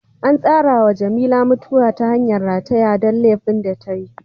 An tsara ma Jamila mutuwa ta hangan rataya don laifin da tayi.